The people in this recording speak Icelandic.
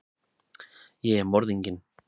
Ég er morðinginn.